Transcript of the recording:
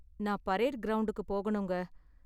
நான் பரேடு கிரௌண்ட்க்கு போகணுங்க.